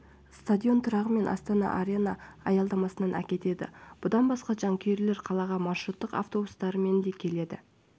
стадион тұрағы мен астана арена аялдамасынан әкетеді бұдан басқа жанкүйерлер қалаға маршруттық автобустарымен де кері